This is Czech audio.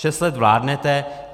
Šest let vládnete.